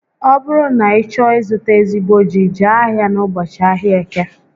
Ọ bụrụ na ị chọọ ị zụta ezigbo ji, Jee ahia n'ụbọchị ahịa Eke